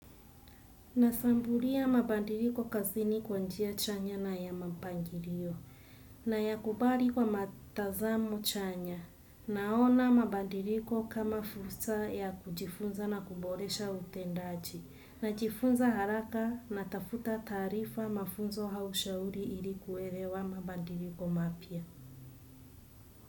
Nashambulia mabadiliko kazini kwa njia chanya na ya mampangilio nayakubali kwa matazamo chanya. Naona mabadiliko kama fursa ya kujifunza na kuboresha utendaji najifunza haraka natafuta taarifa mafunzo au shauri ili kuelewa mabadiliko mapya.